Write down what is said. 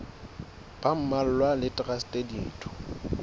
ba mmalwa le traste ditho